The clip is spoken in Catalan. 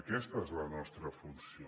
aquesta és la nostra funció